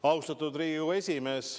Austatud Riigikogu esimees!